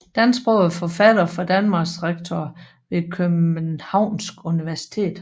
Dansksprogede forfattere fra Danmark Rektorer ved Københavns Universitet